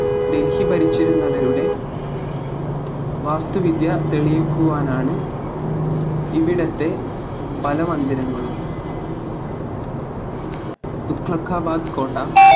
ഡെൽഹി ഭരിച്ചിരുന്നവരുടെ വാസ്തുവിദ്യ തെളിയിക്കുവാനാണ് ഇവിടത്തെ പല മന്ദിരങ്ങളും തുക്ലക്കാബാദ് കോട്ട